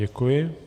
Děkuji.